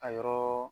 A yɔrɔ